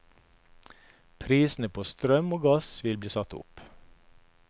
Prisene på strøm og gass vil bli satt opp.